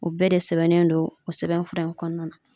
O bɛɛ de sɛbɛnnen do o sɛbɛnfura in kɔnɔna na.